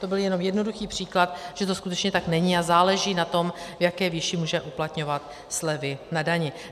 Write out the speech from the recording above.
To byl jenom jednoduchý příklad, že to skutečně tak není, a záleží na tom, v jaké výši může uplatňovat slevy na dani.